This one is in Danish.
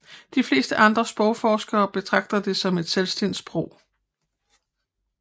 De fleste andre sprogforskere betragter det som et selvstændigt sprog